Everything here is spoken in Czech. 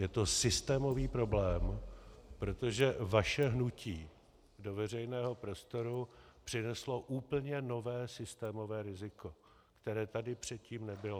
Je to systémový problém, protože vaše hnutí do veřejného prostoru přineslo úplně nové systémové riziko, které tady předtím nebylo.